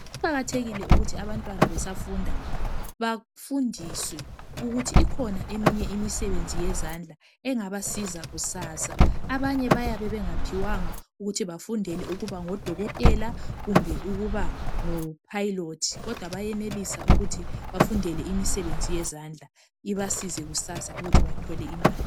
Kuqakathekile ukuthi abantwana besafunda bafundiswe ukuthi ikhona eminye imisebenzi yezandla engabasiza kusasa. Abanye bayabe bengaphiwanga ukuthi bafundele ukuba ngodokotela kumbe ukuba ngo Pilot kodwa bayenelisa ukuthi bafundele imisebenzi yezandla ibasize kusasa ukuthi bathole imali.